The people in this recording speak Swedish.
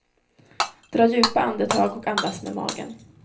Dra djupa andetag och andas med magen.